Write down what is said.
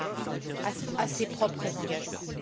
Camara à ses propres engagements.